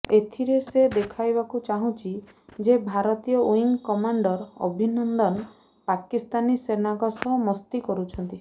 ଏଥିରେ ସେ ଦେଖାଇବାକୁ ଚାହୁଛି ଯେ ଭାରତୀୟ ଓ୍ବିଙ୍ଗ କମାଣ୍ଡର ଅଭିନନ୍ଦନ ପାକିସ୍ତାନୀ ସେନାଙ୍କ ସହ ମସ୍ତି କରୁଛନ୍ତି